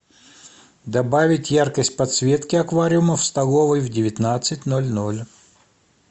добавить яркость подсветки аквариума в столовой в девятнадцать ноль ноль